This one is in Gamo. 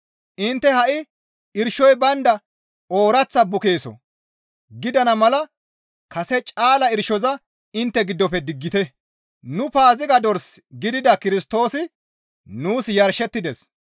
Intte ha7i irshoy baynda ooraththa bukeeso gidana mala kase caala irshoza intte giddofe diggite; nu Paaziga dors gidida Kirstoosi nuus yarshettides.